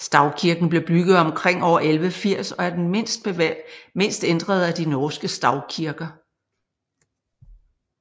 Stavkirken blev bygget omkring år 1180 og er den mindst ændrede af de norske stavkirker